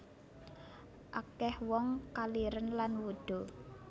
Akeh wong kaliren lan wuda